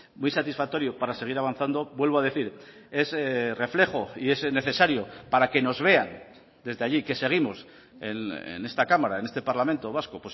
muy satisfactorio para seguir avanzando vuelvo a decir es reflejo y es necesario para que nos vean desde allí que seguimos en esta cámara en este parlamento vasco